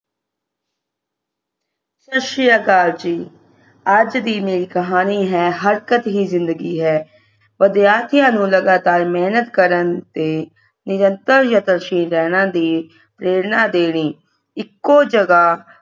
ਸਤਿ ਸ਼੍ਰੀ ਅਕਾਲ ਜੀ ਅੱਜ ਦੀ ਮੇਰੀ ਕਹਾਣੀ ਹੈ ਹਰਕਤ ਹੀ ਜਿੰਦਗੀ ਹੈ ਵਿਦਿਆਰਥੀਆਂ ਨੂੰ ਲਗਾਤਾਰ ਮੇਹਨਤ ਕਰਨ ਤੇ ਨਿਰੰਤਰ ਯਤਨਸ਼ੀਲ ਰਹਿਣਾ ਦੀ ਪ੍ਰੇਰਨਾ ਦੇਣੀ ਇੱਕੋ ਜਗ੍ਹਾ